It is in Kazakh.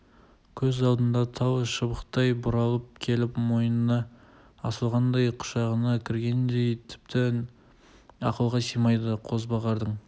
көз алдында тал шыбықтай бұралып келіп мойнына асылғандай құшағына кіргендей тіптен ақылға сыймайды қозбағардың